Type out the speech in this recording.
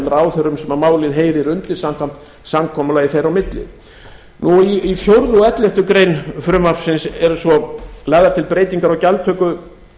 ráðherrum sem málið heyrir undir samkvæmt samkomulagi þeirra á milli í fjórða og elleftu greinar frumvarpsins eru svo lagðar til breytingar á gjaldtöku